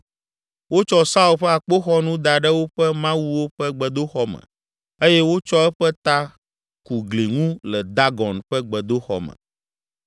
Wotsɔ Saul ƒe akpoxɔnu da ɖe woƒe mawuwo ƒe gbedoxɔ me eye wotsɔ eƒe ta ku gli ŋu le Dagon ƒe gbedoxɔ me.